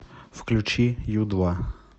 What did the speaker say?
включи ю два